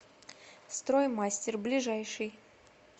строй мастер ближайший